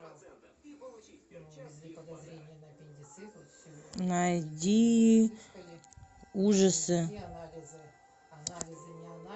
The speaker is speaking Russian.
найди ужасы